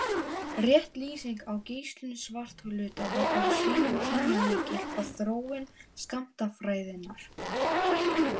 Rétt lýsing á geislun svarthluta var á sínum tíma lykill að þróun skammtafræðinnar.